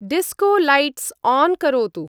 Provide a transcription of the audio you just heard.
Disco lights on करोतु।